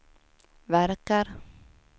verkar